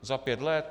Za pět let?